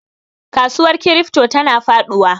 Kasuwar crypto tana faduwa.